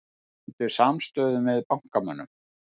Sýndu samstöðu með bankamönnum